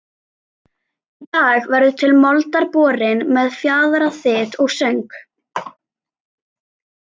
Í dag verður til moldar borin með fjaðraþyt og söng